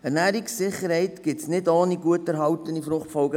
Ernährungssicherheit gibt es nicht ohne gut erhaltene FFF.